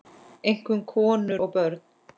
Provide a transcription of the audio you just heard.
Einkum konur og börn.